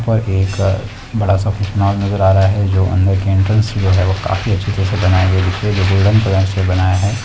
ऊपर एक बड़ा सा पुतला नजर आ रहा हैं जो अंदर की एंट्रेंस जो है वह काफी अच्छी तरीके से बनाई गईं हैं इसे गोल्डन कलर से बनाया गया है।